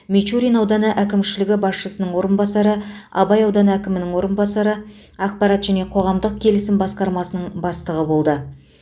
мичурин ауданы әкімшілігі басшысының орынбасары абай ауданы әкімінің орынбасары ақпарат және қоғамдық келісім басқармасының бастығы болды